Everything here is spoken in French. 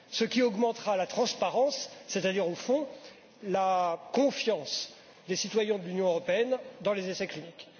Cela augmentera la transparence et en fin de compte la confiance des citoyens de l'Union européenne dans les essais cliniques.